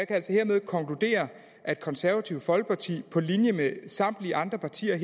altså hermed konkludere at det konservative folkeparti på linje med samtlige andre partier i